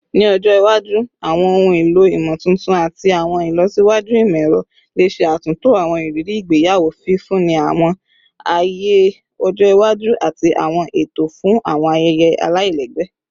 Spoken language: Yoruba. Ni ọjọ iwaju, awọn ohun elo imotuntun ati awọn ilọsiwaju imọ-ẹrọ le ṣe atunto awọn iriri igbeyawo, fifunni awọn aaye ọjọ iwaju ati awọn eto fun awọn ayẹyẹ alailẹgbẹ